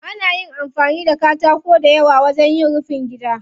Ana amfani da katako dayawa wajen yin rufin gida.